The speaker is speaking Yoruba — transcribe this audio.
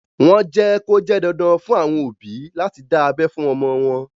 Wọ́n jẹ́ kó jẹ́ dandan fún àwọn òbí láti dá abẹ́ fún ọmọ wọn.